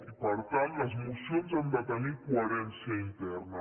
i per tant les mocions han de tenir coherència interna